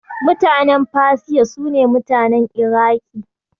Mutanen Fasiya, su ne mutanen Iraƙi.